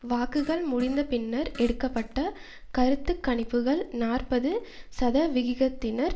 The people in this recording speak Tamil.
வாக்குகள் முடிந்த பின்னர் எடுக்க பட்ட கருத்து கணிப்புக்கள் நாற்பது சதவிகிதத்தினர்